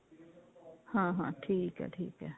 ਹਾਂ ਹਾਂ ਠੀਕ ਹੈ ਠੀਕ ਹੈ